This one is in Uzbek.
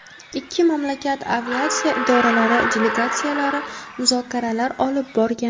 Ikki mamlakat aviatsiya idoralari delegatsiyalari muzokaralar olib borgan.